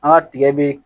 An ka tigɛ be